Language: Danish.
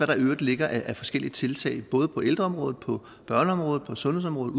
der i øvrigt ligger af forskellige tiltag både på ældreområdet på børneområdet på sundhedsområdet